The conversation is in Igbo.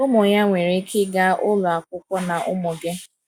Ụmụ ya nwere ike ịga ụlọ akwụkwọ na ụmụ gị.